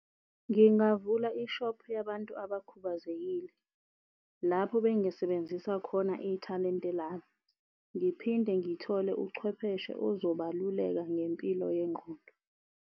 Ngingavula i-shop yabantu abakhubazekile lapho bengisebenzisa khona ithalente ngiphinde ngithole uchwepheshe ozobaluleka ngempilo yengqondo.